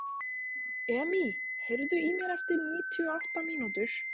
Emý, heyrðu í mér eftir níutíu og átta mínútur.